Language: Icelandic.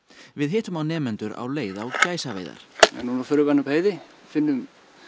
við hittum á nemendur á leið á gæsaveiðar núna förum við upp á heiði finnum